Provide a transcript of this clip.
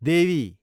देवी